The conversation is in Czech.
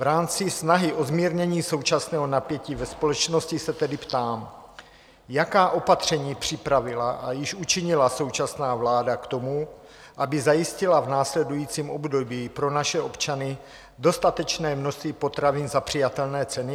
V rámci snahy o zmírnění současného napětí ve společnosti se tedy ptám: Jaká opatření připravila a již učinila současná vláda k tomu, aby zajistila v následujícím období pro naše občany dostatečné množství potravin za přijatelné ceny?